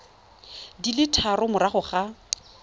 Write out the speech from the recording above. di le tharo morago ga